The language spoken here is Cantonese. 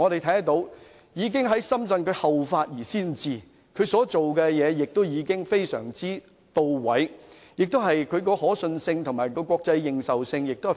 由此可見，內地已經後發先至，仲裁工作亦相當到位，已建立相當強的可信性和國際認受性。